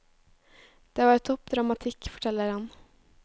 Det var topp dramatikk, forteller han.